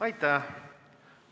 Aitäh!